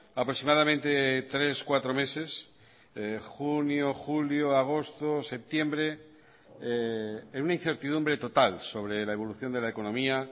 aproximadamente tres cuatro meses junio julio agosto septiembre en una incertidumbre total sobre la evolución de la economía